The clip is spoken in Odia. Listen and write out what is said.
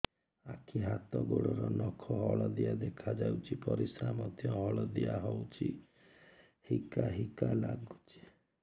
ଆଖି ହାତ ଗୋଡ଼ର ନଖ ହଳଦିଆ ଦେଖା ଯାଉଛି ପରିସ୍ରା ମଧ୍ୟ ହଳଦିଆ ହଉଛି ହିକା ହିକା ଲାଗୁଛି